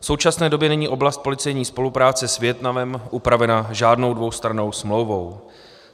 V současné době není oblast policejní spolupráce s Vietnamem upravena žádnou dvoustrannou smlouvou.